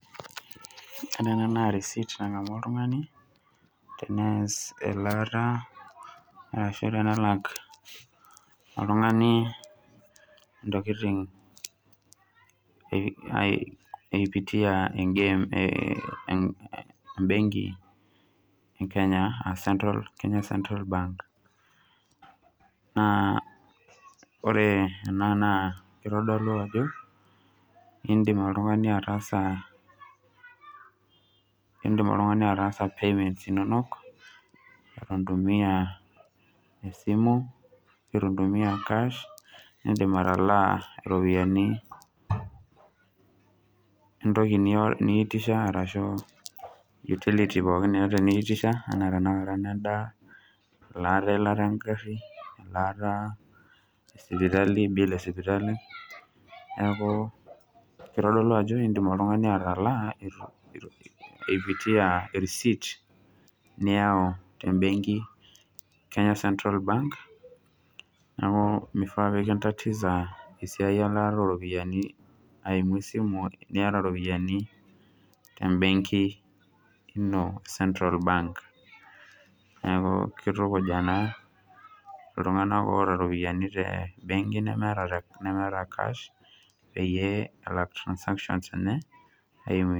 Ore ena naa receipt nagamu oltungani, tenelak intokitin eimu embenki e KCB e Kenya aaa Kenya Central Bank. Ore na naa keitodolu ajo, indim oltungani ataasa payments inonok ituntumia cash indim atalaa iropiyiani entoki niitisha arashuu utility, endaa, eilata engarri, elaata esipitali. Niaku keitodolu ajo indim oltungani atalaa eimu e receipt niyau te mbenki KCB. Menare niki tatiza elaata